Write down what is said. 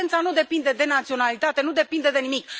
Violența nu depinde de naționalitate, nu depinde de nimic.